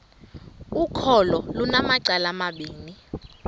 ukholo lunamacala amabini